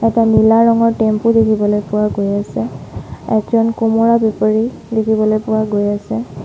এটা নীলা ৰঙৰ টেম্পো দেখিবলৈ পোৱা গৈ আছে একজন কুমৰা বেপাৰী দেখিবলৈ পোৱা গৈ আছে।